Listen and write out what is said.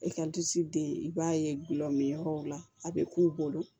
E ka disi den i b'a ye gulɔ min yɔrɔw la a bɛ k'u bolo